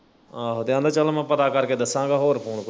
ਆਹੋ ਤੇ ਆਂਦਾ ਚੱਲ ਮੈਂ ਪਤਾ ਕਰ ਕੇ ਦੱਸਾਂਗਾ ਹੋਰ ਕੋਈ